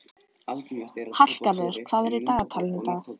Hallgarður, hvað er í dagatalinu í dag?